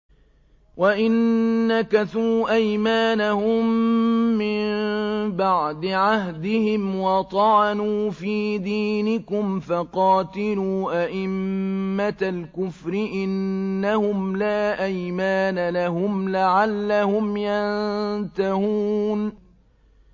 وَإِن نَّكَثُوا أَيْمَانَهُم مِّن بَعْدِ عَهْدِهِمْ وَطَعَنُوا فِي دِينِكُمْ فَقَاتِلُوا أَئِمَّةَ الْكُفْرِ ۙ إِنَّهُمْ لَا أَيْمَانَ لَهُمْ لَعَلَّهُمْ يَنتَهُونَ